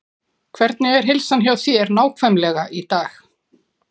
Hvernig er heilsan hjá þér nákvæmlega í dag?